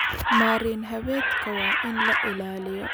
Marin-haweedka waa in la ilaaliyo.